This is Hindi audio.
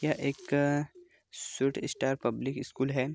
यह एक स्वीटस्टार पब्लिक स्कूल है।